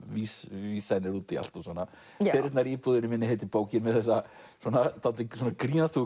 vísanir út í allt og svona perurnar í íbúðinni minni heitir bókin með þessa dálítið